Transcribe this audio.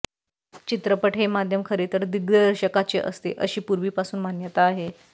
चित्रपट हे माध्यम खरे तर दिग्दर्शकाचे असते अशी पूर्वी पासून मान्यता आहे